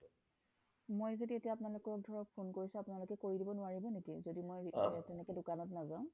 মই যদি এতিয়া আপোনালোকক ধৰক phone কৰিছো আপোনালোকে কৰি দিব নোৱাৰিব নেকি যদি মই তেনেকে দোকানত নাযাও